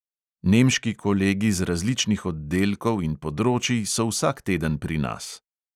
Nemški kolegi z različnih oddelkov in področij so vsak teden pri nas.